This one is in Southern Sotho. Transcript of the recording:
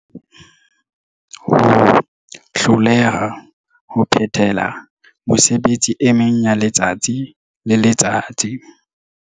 Ho hloleha ho phethela mesebetsi e meng yaletsatsi le letsatsi.